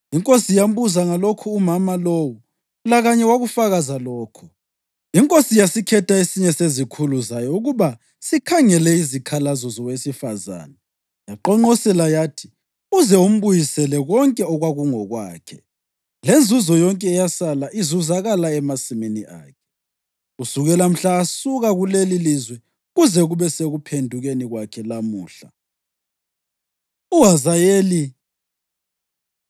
Inkosi yambuza ngalokhu umama lowo, lakanye wakufakaza lokho. Inkosi yasikhetha esinye sezikhulu zayo ukuba sikhangele izikhalazo zowesifazane yaqonqosela yathi, “Uze umbuyisele konke okwakungokwakhe, lenzuzo yonke eyasala izuzakala emasimini akhe kusukela mhla asuka kulelilizwe kuze kube sekuphendukeni kwakhe lamuhla.” UHazayeli Ubulala UBheni-Hadadi